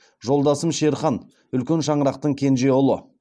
жолдасым шерхан үлкен шаңырақтың кенже ұлы